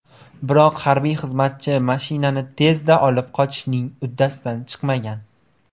Biroq harbiy xizmatchi mashinani tezda olib qochishning uddasidan chiqmagan.